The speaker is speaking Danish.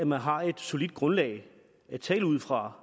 man har et solidt grundlag at tale ud fra